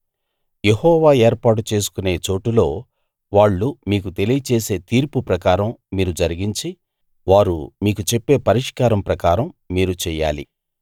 యెహోవా ఏర్పరచుకొనే చోటులో వాళ్ళు మీకు తెలియచేసే తీర్పు ప్రకారం మీరు జరిగించి వారు మీకు చెప్పే పరిష్కారం ప్రకారం మీరు చెయ్యాలి